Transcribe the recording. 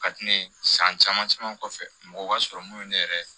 Ka di ne ye san caman caman kɔfɛ mɔgɔ b'a sɔrɔ mun ye ne yɛrɛ